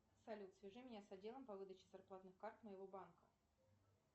салют свяжи меня с отделом по выдаче зарплатных карт моего банка